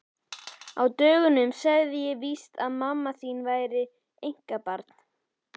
Á dögunum sagði ég víst að mamma þín væri einkabarn.